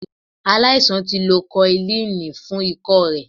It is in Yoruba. Aláisan ti lo koilínì fún ikọ́ rẹ̀.